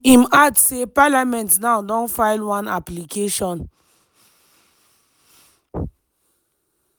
im im add say “parliament now don file one application